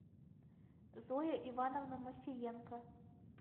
зоя ивановна мосиенко